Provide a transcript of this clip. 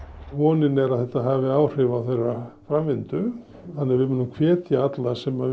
vonin er að þetta hafi áhrif þeirra framvindu þannig að við munum hvetja alla sem